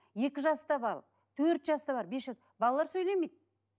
екі жаста бал төрт жаста бар бес жас балалар сөйлемейді